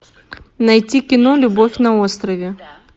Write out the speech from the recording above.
найти кино любовь на острове